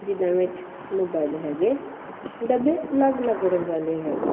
ਜਿਨ੍ਹਾਂ ਵਿੱਚ ਮੋਬਾਈਲ ਹੈਗੇ ਡੱਬੇ ਅਲੱਗ ਅਲੱਗ ਰੰਗਾਂ ਦੇ ਵਿੱਚ ਹੈਗੇ।